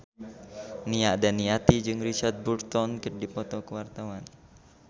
Nia Daniati jeung Richard Burton keur dipoto ku wartawan